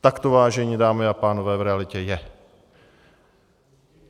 Tak to, vážené dámy a pánové, v realitě je.